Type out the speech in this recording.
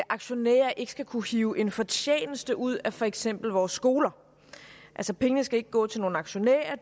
aktionærer skal ikke kunne hive en fortjeneste ud af for eksempel vores skoler altså pengene skal ikke gå til nogle aktionærer